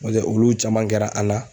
Ɲɔntɛ ulu caman kɛra an na